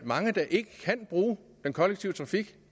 mange der ikke kan bruge den kollektive trafik